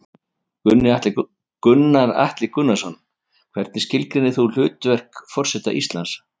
Gunnar Atli Gunnarsson: Hvernig skilgreinir þú hlutverk forseta Íslands?